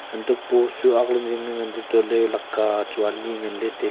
hanto pose chu akk le zingle nganlay tualey lakah chu ani nganlay tailay.